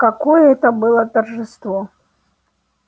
какое это было торжество